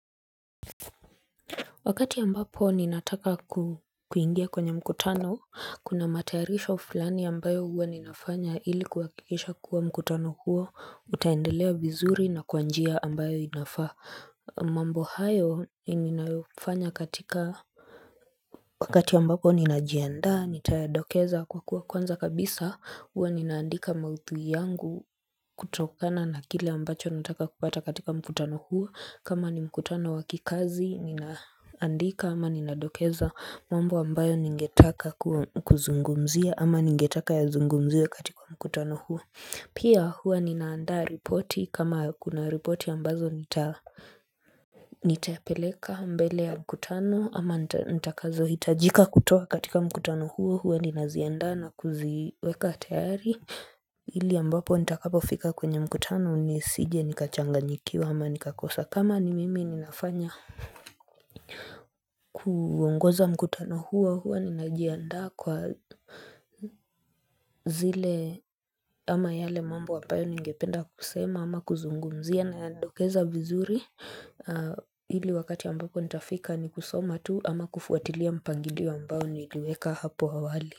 Wakati ambapo ninataka kuingia kwenye mkutano, kuna matayarisho fulani ambayo huwa ninafanya ili kuhakikisha kuwa mkutano huo, utaendelea vizuri na kwa njia ambayo inafaa. Mambo hayo ninayofanya katika wakati ambapo ninajiandaa, nitayadokeza kwa kuwa kwanza kabisa huwa ninaandika maudhui yangu kutokana na kile ambacho nataka kupata katika mkutano huo kama ni mkutano wa kikazi ninaandika. Ama ninadokeza mambo ambayo ningetaka kuzungumzia ama ningetaka yazungumziwe katika mkutano huo Pia huwa ninaandaa ripoti kama kuna ripoti ambazo nitapeleka mbele ya mkutano ama nitakazohitajika kutoa katika mkutano huo huwa ninaziandaa na kuziweka tayari ili ambapo nitakapofika kwenye mkutano Nisije nikachanganyikiwa ama nikakosa kama ni mimi ninafanya kuongoza mkutano huo huwa ninajiandaa kwa zile ama yale mambo ambayo ningependa kusema ama kuzungumzia nayadokeza vizuri ili wakati ambapo nitafika ni kusoma tu ama kufuatilia mpangilio ambao niliweka hapo awali.